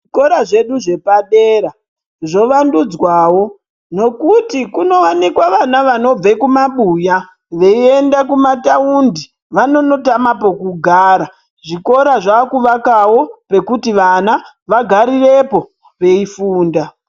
Zvikora zvedu zvepadera zvovandudzwawo nokuti kunowanikwa vana vanobve kumabuya veiyenda kumataundi vanonotama pokugara zvikora zvakuvakawo pekuti vana vagarirepo veifunda.